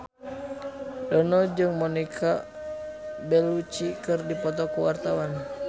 Dono jeung Monica Belluci keur dipoto ku wartawan